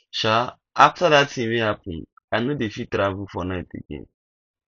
um after dat thing wey happen i no dey fit travel for night again